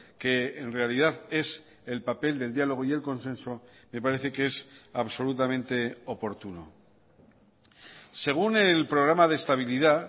que en realidad es el papel del diálogo y el consenso me parece que es absolutamente oportuno según el programa de estabilidad